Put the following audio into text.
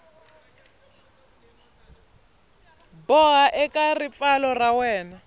boha eka ripfalo ra wena